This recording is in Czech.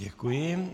Děkuji.